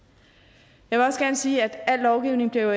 jeg vil også gerne sige at al lovgivning jo